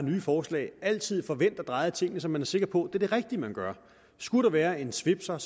nye forslag altid får vendt og drejet tingene så man er sikker på at det er det rigtige man gør skulle der være en svipser